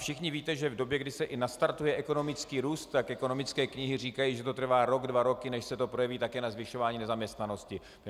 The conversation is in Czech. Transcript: Všichni víte, že v době, kdy se i nastartuje ekonomický růst, tak ekonomické knihy říkají, že to trvá rok, dva roky, než se to projeví také na zvyšování nezaměstnanosti.